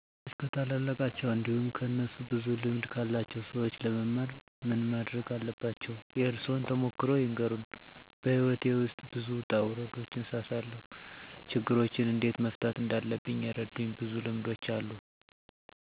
ሰዎች ከታላላቃቸው እንዲሁም ከእነሱ ብዙ ልምድ ካላቸው ሰዎች ለመማር ምን ማረግ አለባቸው? የእርሶን ተሞክሮ ይንገሩን? *በሕይወቴ ውስጥ ብዙ ውጣ ውረዶችን ስላሳለፍኩ፣ ችግሮችን እንዴት መፍታት እንዳለብኝ የረዱኝ ብዙ ልምዶች አሉ፤ ከሰዎች ጋር መግባባት፣ ትዕግስት፣ ጽናት፣ ይቅር ባይነት፣ ትሁት፣ የፍቅር ግንኙነት፣ የሥራ ሥነ ምግባር፣ ጊዜን በአግባቡ መጠቀም፣ ለሥራ ቦታ ክብር በመስጠትና በመሳሰሉት ነገሮች ጠቃሚ ልምዶችን መውሰድ ችያለሁ። በተለይ አንዳንድ ሥራን በጋራ ለመሥራት እና እንዴት ጥረት ማድረግ እንዳለብ ልምድ ወስጃለሁ።